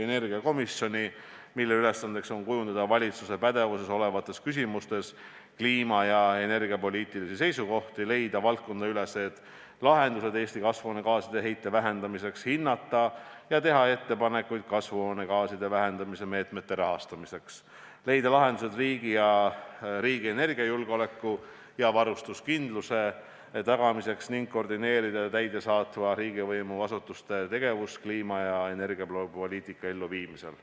energiakomisjoni, mille ülesandeks on kujundada valitsuse pädevuses olevates küsimustes kliima- ja energiapoliitilisi seisukohti, leida valdkonnaüleseid lahendusi Eesti kasvuhoonegaaside heite vähendamiseks, hinnata ja teha ettepanekuid kasvuhoonegaaside vähendamise meetmete rahastamiseks, leida lahendusi riigi energiajulgeoleku ja varustuskindluse tagamiseks ning koordineerida täidesaatva riigivõimu asutuste tegevust kliima- ja energiapoliitika elluviimisel.